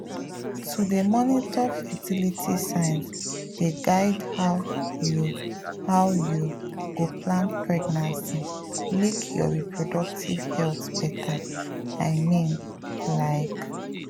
to dey monitor fertility signs dey guide how you how you go plan pregnancy make your reproductive health better i mean like.